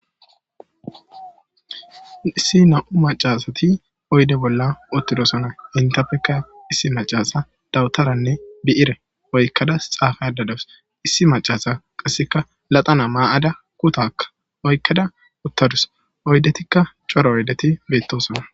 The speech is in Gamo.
Issi nam'u macasati oyde bolla uttidosona intapekka issi macasa dawutaranne bi'ire oykkada xaafa adadawus issi macasa qasseka laxana maa'ada kutakka oykkada uttadus oydetikka coro oydeti beettosona.